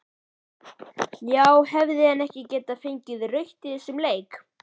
Já hefði hann ekki getað fengið rautt í þessum leik?